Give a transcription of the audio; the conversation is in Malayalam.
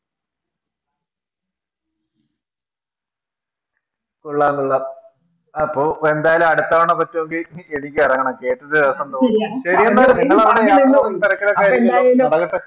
കൊള്ളം കൊള്ളാം അപ്പൊ എന്തായാലും അടുത്ത തവണ പറ്റുമെങ്കിൽ എനിക്കെറങ്ങണം